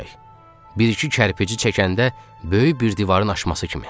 Bir-iki kərpic çəkəndə böyük bir divarın aşması kimi.